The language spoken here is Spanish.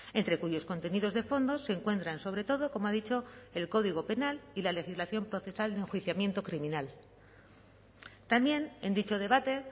entre cuyos contenidos de fondo se encuentran sobre todo como ha dicho el código penal y la legislación procesal de enjuiciamiento criminal también en dicho debate